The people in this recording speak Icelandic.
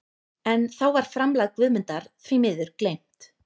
En þá var framlag Guðmundar því miður gleymt.